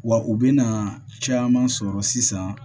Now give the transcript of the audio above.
Wa u bɛna caman sɔrɔ sisan